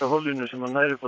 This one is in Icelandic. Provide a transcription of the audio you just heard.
hollinu sem nær upp